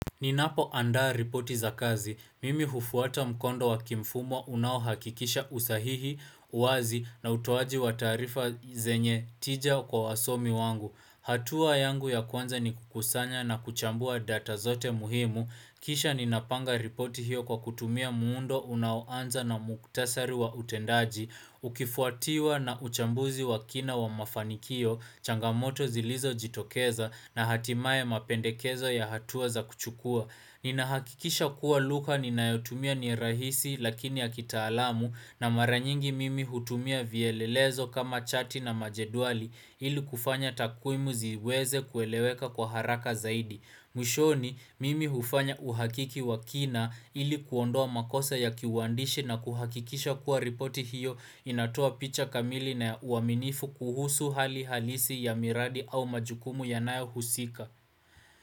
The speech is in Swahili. Ninapoandaa ripoti za kazi. Mimi hufuata mkondo wakimfumo unaohakikisha usahihi, uwazi na utoaji wa taarifa zenye tija kwa wasomi wangu. Hatua yangu ya kwanza ni kukusanya na kuchambua data zote muhimu. Kisha ninapanga ripoti hiyo kwa kutumia muundo unaoanza na muktasari wa utendaji. Ukifuatiwa na uchambuzi wa kina wa mafanikio, changamoto zilizojitokeza na hatimaye mapendekezo ya hatuwa za kuchukua Ninahakikisha kuwa lugha ninayotumia ni rahisi lakini ya kitaalamu na mara nyingi mimi hutumia vielelezo kama chati na majedwali ili kufanya takuimu ziweze kueleweka kwa haraka zaidi mwishoni mimi hufanya uhakiki wa kina ili kuondoa makosa ya kiuwandishi na kuhakikisha kuwa ripoti hiyo inatoa picha kamili na uaminifu kuhusu hali halisi ya miradi au majukumu yanayohusika.